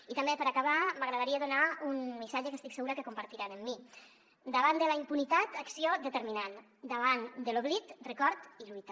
i també per acabar m’agradaria donar un missatge que estic segura que compartiran amb mi davant de la impunitat acció determinant davant de l’oblit record i lluita